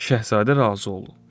Şahzadə razı olur.